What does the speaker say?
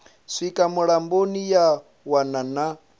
swika mulamboni ya wana na